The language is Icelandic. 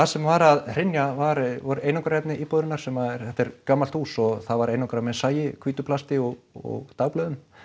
sem var að hrynja var einangrunarefni íbúðarinnar sem að þetta er gamalt hús og það var einangrað með sagi hvítu plasti og dagblöðum